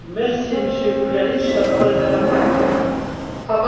Frau Präsidentin, lieber Herr Kommissar, lieber Herr Ratspräsident!